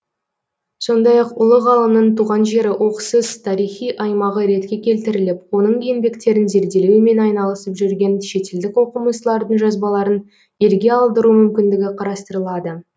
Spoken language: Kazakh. сондай ақ ұлы ғалымның туған жері оқсыз тарихи аймағы ретке келтіріліп оның еңбектерін зерделеумен айналысып жүрген шетелдік оқымыстылардың жазбаларын елге алдыру мүмкіндігі қарастырылады